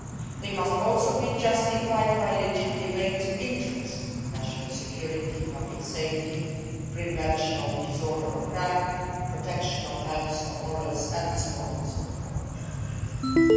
They must also be justified by legitimate interests national security, public safety, prevention of disorder or crime, protection of health or morals and so on.